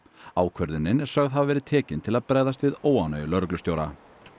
ákvörðunin er sögð hafa verið tekin til að bregðast við óánægju lögreglustjóra